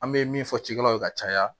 An bɛ min fɔ cikɛlaw ye ka caya